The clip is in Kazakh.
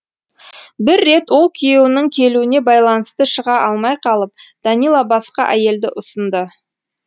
бір рет ол күйеуінің келуіне байланысты шыға алмай қалып данила басқа әйелді ұсынды